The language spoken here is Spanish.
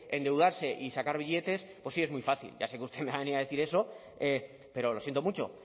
endeudarse y sacar billetes pues sí es muy fácil ya sé que usted me ha venido a decir eso pero lo siento mucho